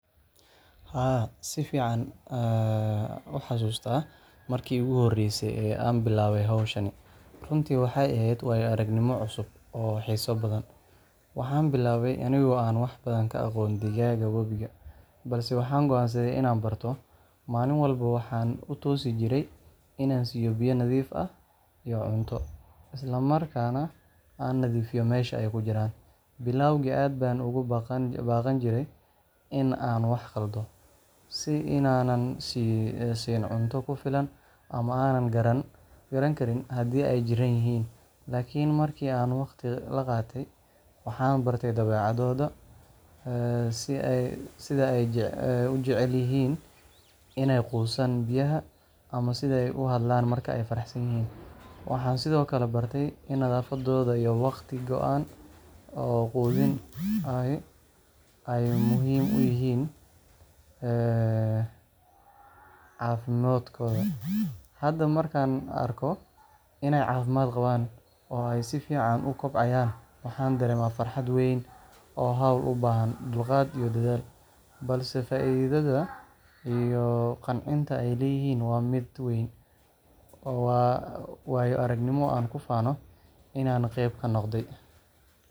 Haa, si fiican ayaan u xasuustaa markii iigu horreysay ee aan bilaabay hawshan. Runtii, waxay ahayd waayoa ragnimo cusub oo xiiso badan. Waxaan bilaabay anigoo aan wax badan ka aqoon digaagga webiga, balse waxaan go’aansaday inaan barto. Maalin walba waxaan u toosi jiray inaan siiyo biyo nadiif ah iyo cunto, isla markaana aan nadiifiyo meesha ay ku jiraan. Bilowgii aad baan uga baqan jiray in aan wax khaldo sida inaanan siin cunto ku filan ama aanan garan karin haddii ay jiran yihiin. Laakiin markii aan waqti la qaatay, waxaan bartay dabeecadahooda: sida ay u jecel yihiin inay quusaan biyaha, ama sida ay u hadlaan marka ay faraxsan yihiin. Waxaan sidoo kale bartay in nadaafadda iyo wakhti go'an oo quudin ahi ay muhiim u yihiin caafimaadkooda. Hadda, markaan arko inay caafimaad qabaan oo ay si fiican u kobcayaan, waxaan dareemaa farxad weyn. Waa hawl u baahan dulqaad iyo dadaal, balse faa'iidada iyo qancinta ay leedahay waa mid weyn. Waa waayo aragnimo aan ku faano inaan qeyb ka noqday.